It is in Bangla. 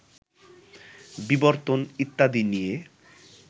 বিবর্তন ইত্যাদি নিয়ে